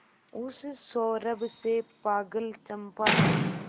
उस सौरभ से पागल चंपा ने